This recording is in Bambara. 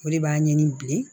O de b'a ɲini bilen